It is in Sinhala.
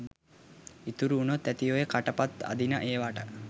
ඉතුරු වුනොත් ඇති ඔය කට පත් අදින ඒවට.